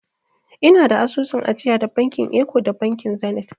Ina da asusun ajiya da bankin eko da bankin zenit.